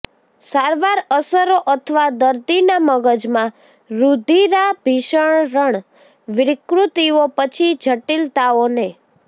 સારવાર અસરો અથવા દર્દીના મગજમાં રુધિરાભિસરણ વિકૃતિઓ પછી જટિલતાઓને